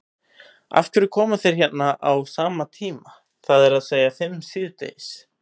Af hverju koma þeir hérna á sama tíma, það er að segja fimm síðdegis?